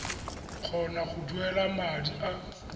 kgona go duela madi a